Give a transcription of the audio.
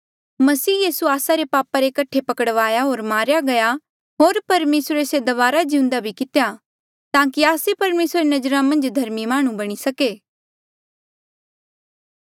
मसीह यीसू आस्सा रे पापा रे कठे पकड़वाया होर मारेया गया होर परमेसरे से दबारा जिउंदा भी कितेया ताकि आस्से परमेसरा री नजरा मन्झ धर्मी माह्णुं बणी सके